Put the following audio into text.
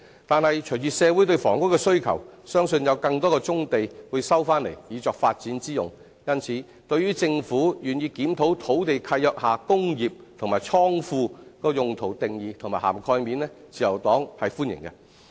但是，隨着社會對房屋的需求，相信有更多棕地會收回作發展之用，因此，對於政府願意檢討土地契約下"工業"及"倉庫"用途的定義和涵蓋面，自由黨是歡迎的。